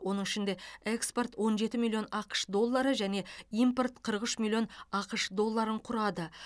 оның ішінде экспорт он жеті миллион ақш доллары және импорт қырық үш миллион ақш долларын құрады